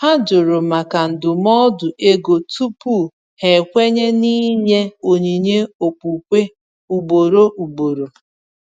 Ha jụrụ maka ndụmọdụ ego tupu ha ekwenye n’ịnye onyinye okpukpe ugboro ugboro.